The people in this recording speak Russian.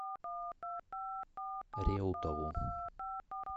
реутову